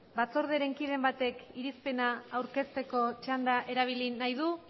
batzordearen kideren batek irizpena aurkezteko txanda erabili nahi du